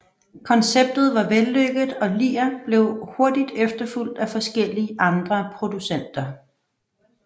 Konceptet var vellykket og Lear blev hurtigt efterfulgt af forskellige andre producenter